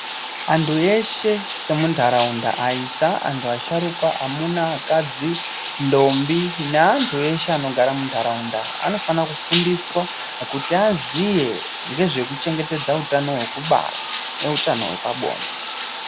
Antu eshe emu ndaraunda ayisa antu asharukwa amuna akadzi ndombi ne antu eshe ano gara mu ndaraunda anofana kufundiswa kuti aziye ngezve kuchengetedza hutano hweku bara ne hutano hwe pabonde.